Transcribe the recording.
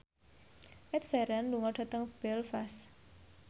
Ed Sheeran lunga dhateng Belfast